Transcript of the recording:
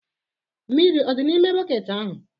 Mmiri ọ dị n'ime bọket ahụ?